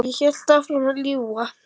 Og ég hélt áfram að ljúga.